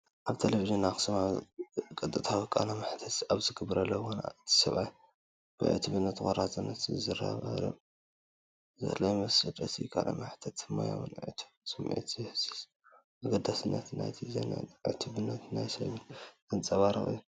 ኣብ ቴሌቪዥን ኣክሱማዊያን ቀጥታዊ ቃለ መሕትት ኣብ ዝገብረሉ እዋን፡ እቲ ሰብኣይ ብዕቱብነትን ቆራጽነትን ዝዛረብ ዘሎ ይመስል። እቲ ቃለ መሕትት ሞያውን ዕቱብን ስምዒት ዝህዝ፣፤ ኣገዳስነት ናይቲ ዜናን ዕቱብነት ናይቲ ሰብን ዘንጸባርቕ እዩ።